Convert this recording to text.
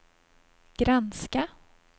granska